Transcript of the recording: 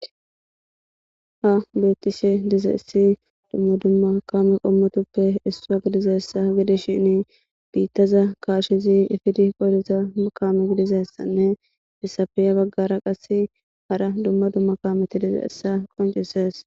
Ha beettishe dizeayssi dumma dumma kaame qommotuppe issuwa gidizessa gidishini biittaza kaashizi ifidi qoliza kaame gidizessanne hessappe yabaggara qasse hara dumma dumma kaameti dizayssa qonceses.